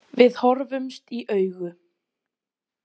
Við horfumst í augu.